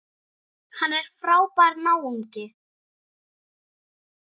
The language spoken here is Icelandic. Hann er frábær náungi.